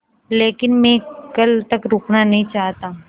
लेकिन मैं कल तक रुकना नहीं चाहता